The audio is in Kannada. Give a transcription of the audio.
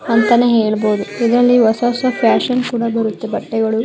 ಅಂತಾನೆ ಹೇಳಬಹುದು. ಇದರಲ್ಲಿ ಹೊಸ ಹೊಸ ಫ್ಯಾಷನ್ ಗಳು ಮತ್ತು ಬಟ್ಟೆಗಳು--